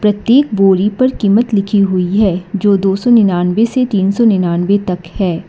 प्रत्येक बोरी पर कीमत लिखी हुई है जो दो सौ निन्यानवे से तीन सौ निन्यानवे तक हैं।